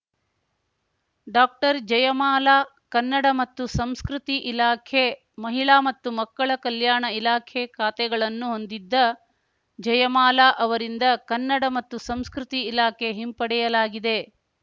doctor Jayamala Kannada ಮತ್ತು ಸಂಸ್ಕೃತಿ ಇಲಾಖೆ ಮಹಿಳಾ ಮತ್ತು ಮಕ್ಕಳ ಕಲ್ಯಾಣ ಇಲಾಖೆ ಖಾತೆಗಳನ್ನು ಹೊಂದಿದ್ದ ಜಯಮಾಲಾ ಅವರಿಂದ ಕನ್ನಡ ಮತ್ತು ಸಂಸ್ಕೃತಿ ಇಲಾಖೆ ಹಿಂಪಡೆಯಲಾಗಿದೆ